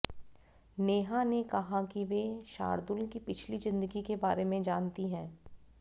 नेहा ने कहा कि वे शार्दुल की पिछली जिंदगी के बारे में जानती है